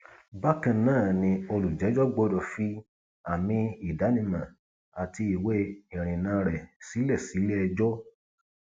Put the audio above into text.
bákan náà ni olùjẹjọ gbọdọ fi àmì ìdánimọ àti ìwé ìrìnnà rẹ sílẹ síléẹjọ